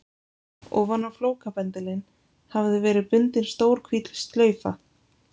Ofan á flókabendilinn hafði verið bundin stór hvít slaufa.